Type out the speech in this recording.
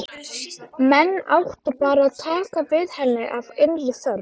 Menn áttu bara að taka við henni af innri þörf.